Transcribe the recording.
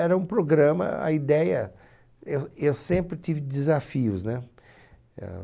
Era um programa, a ideia... Eu, eu sempre tive desafios, né?